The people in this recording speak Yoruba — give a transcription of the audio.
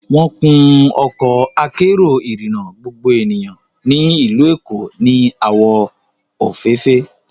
Wọ́n kun Ọkọ akérò ìrìnà gbogbo ènìyàn ní ìlú Èkó ní àwọ̀ òféèfé